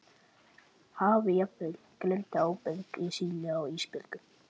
Hafi jafnvel gleymt ábyrgð sinni á Ísbjörgu.